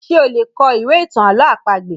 Ṣé o lè kọ ìwé ìtàn àlọ́ àpagbè?